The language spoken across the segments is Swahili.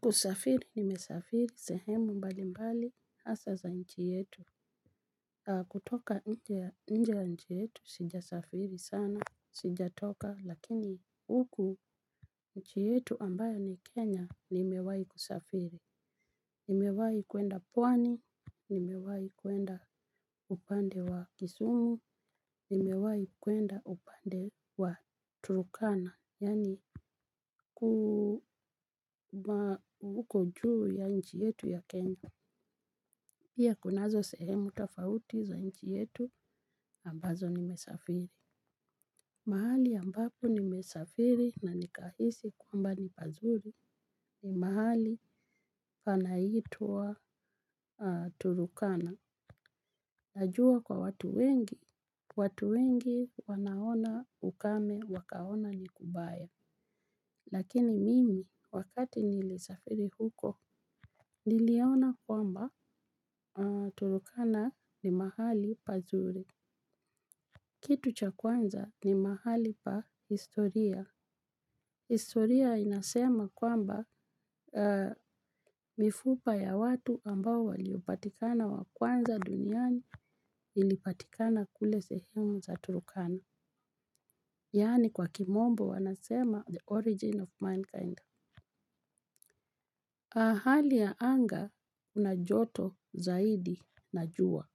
Kusafiri nimesafiri sehemu mbalimbali hasaa za nchi yetu naam kutoka nje ya nchi yetu sijasafiri sana sijatoka lakini huku nchi yetu ambayo ni kenya nimewahi kusafiri nimewahi kwenda pwani nimewahi kwenda upande wa kisumu. Nimewahi kwenda upande wa turkana yani huko juu ya nchi yetu ya Kenya pia kunazo sehemu tofauti za nchi yetu ambazo nimesafiri. Mahali ambapo nimesafiri na nikahisi kwamba ni pazuri ni mahali panaitwa turkana. Najua kwa watu wengi, watu wengi wanaona ukame wakaona ni kubaya. Lakini mimi, wakati nilisafiri huko, niliona kwamba turkana ni mahali pazuri. Kitu cha kwanza ni mahali pa historia. Historia inasema kwamba mifupa ya watu ambao waliopatikana wa kwanza duniani ilipatikana kule sehemu za turkana. Yani kwa kimombo wanasema the origin of mankind hali ya anga unajoto zaidi najua,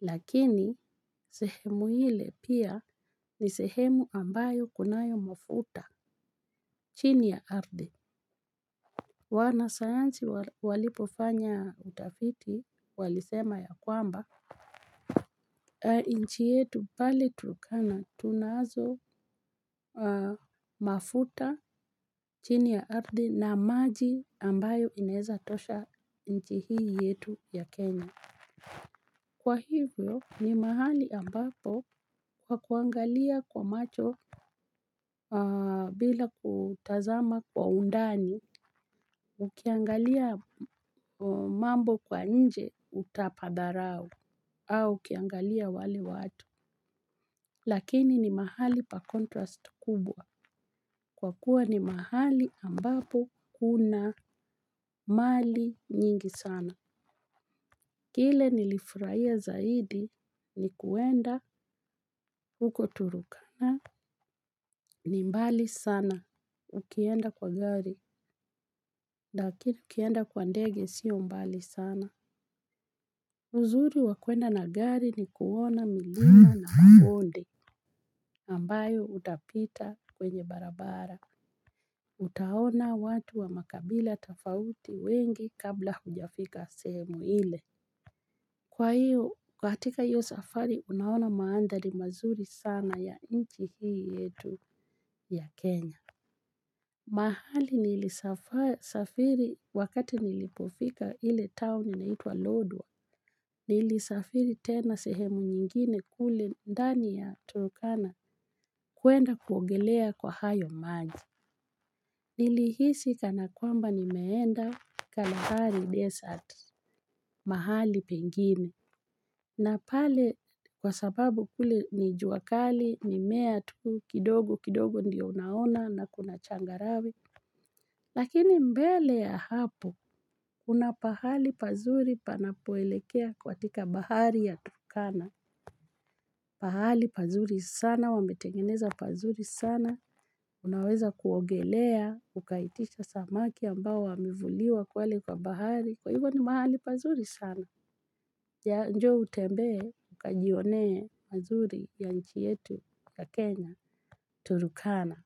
lakini sehemu ile pia ni sehemu ambayo kunayo mafuta chini ya ardhi. Wanasayansi walipofanya utafiti walisema ya kwamba, inchi yetu pali turkana tunazo mafuta chini ya ardhi na maji ambayo inaeza tosha inchi hii yetu ya Kenya. Kwa hivyo ni mahali ambapo kwa kuangalia kwa macho bila kutazama kwa undani, ukiangalia mambo kwa nje utapadharau au ukiangalia wale watu. Lakini ni mahali pa contrast kubwa kwa kuwa ni mahali ambapo kuna mali nyingi sana. Kile nilifurahia zaidi ni kuenda huko turkana. Ni mbali sana ukienda kwa gari, lakini ukienda kwa ndege sio mbali sana. Uzuri wa kwenda na gari ni kuona milima na mabonde, ambayo utapita kwenye barabara. Utaona watu wa makabila tofauti wengi kabla hujafika sehemu ile. Kwa hiyo, katika hiyo safari, unaona maandhari mazuri sana ya inchi hii yetu ya Kenya. Mahali nilisafiri wakati nilipofika ile town inaitwa Lodwar, nilisafiri tena sehemu nyingine kule ndani ya turkana kwenda kuogelea kwa hayo maji. Nilihisi kana kwamba nimeenda kalahari desert, mahali pengine. Na pale kwa sababu kule ni jua kali mimea tu kidogo kidogo ndio unaona na kuna changarawe. Lakini mbele ya hapo, kuna pahali pazuri panapoelekea katika bahari ya Tukana. Pahali pazuri sana, wametengeneza pazuri sana, unaweza kuogelea, ukaitisha samaki ambao wamevuliwa pale kwa bahari. Kwa hivyo ni mahali pazuri sana, ya njoo utembee, ukajionee mazuri ya nchi yetu ya Kenya, Tukana.